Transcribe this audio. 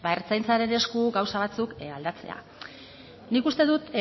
ertzaintzaren esku gauza batzuk aldatzea nik uste dut